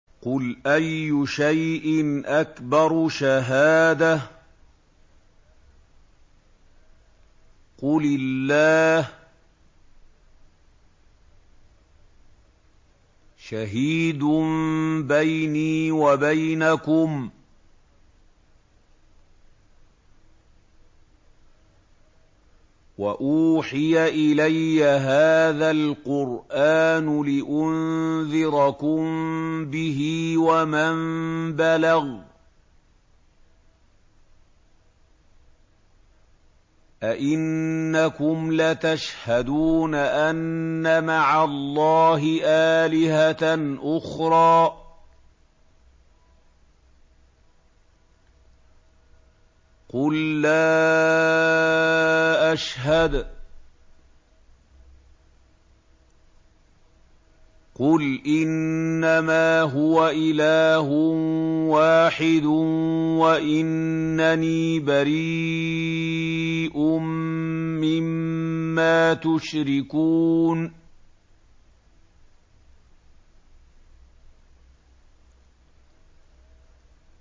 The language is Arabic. قُلْ أَيُّ شَيْءٍ أَكْبَرُ شَهَادَةً ۖ قُلِ اللَّهُ ۖ شَهِيدٌ بَيْنِي وَبَيْنَكُمْ ۚ وَأُوحِيَ إِلَيَّ هَٰذَا الْقُرْآنُ لِأُنذِرَكُم بِهِ وَمَن بَلَغَ ۚ أَئِنَّكُمْ لَتَشْهَدُونَ أَنَّ مَعَ اللَّهِ آلِهَةً أُخْرَىٰ ۚ قُل لَّا أَشْهَدُ ۚ قُلْ إِنَّمَا هُوَ إِلَٰهٌ وَاحِدٌ وَإِنَّنِي بَرِيءٌ مِّمَّا تُشْرِكُونَ